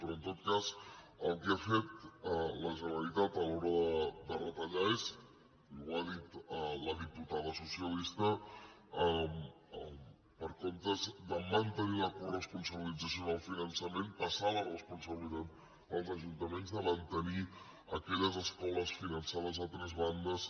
però en tot cas el que ha fet la generalitat a l’hora de retallar és i ho ha dit la diputada socialista en comptes de mantenir la coresponsabilitat en el finançament passar la responsabilitat als ajuntaments de mantenir aquelles escoles finançades a tres bandes